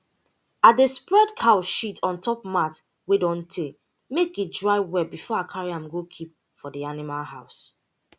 i dey spread cow shit on top mat wey don tey make e dry well before i carry am go keep for the animal house